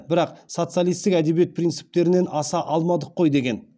бірақ социалистік әдебиет принциптерінен аса алмадық қой деген